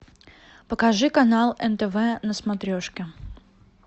покажи канал нтв на смотрешке